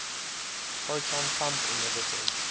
proton pump inhibitors